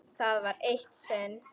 Það var eitt sinn.